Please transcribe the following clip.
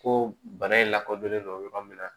Ko bana in lakodɔnnen don yɔrɔ min na